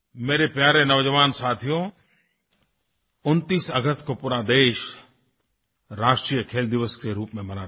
मेरे प्यारे नौजवान साथियो 29 अगस्त को पूरा देश राष्ट्रीय खेलदिवस के रूप में मनाता है